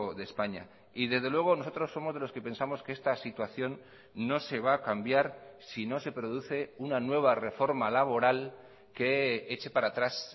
de españa y desde luego nosotros somos de los que pensamos que esta situación no se va a cambiar si no se produce una nueva reforma laboral que eche para atrás